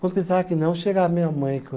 Quando pensava que não, chegava minha mãe.